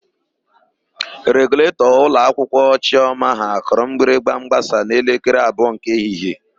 Reguletọ ụlọakwụkwọ Chiọma ha kụrụ mgbịrịgba mgbasa n'elekere abụọ nke ehihie.